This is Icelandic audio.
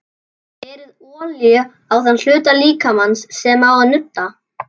Berið olíu á þann hluta líkamans sem á að nudda.